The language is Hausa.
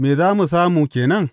Me za mu samu ke nan?